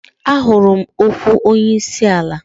Ahụrụ m okwu onye isi ala.